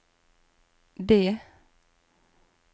det